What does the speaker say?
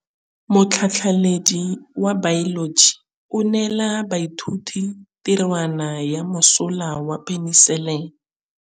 Motlhatlhaledi wa baeloji o neela baithuti tirwana ya mosola wa peniselene.